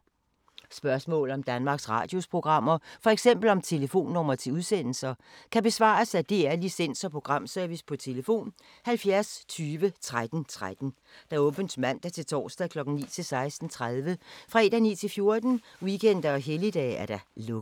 Spørgsmål om Danmarks Radios programmer, f.eks. om telefonnumre til udsendelser, kan besvares af DR Licens- og Programservice: tlf. 70 20 13 13, åbent mandag-torsdag 9.00-16.30, fredag 9.00-14.00, weekender og helligdage: lukket.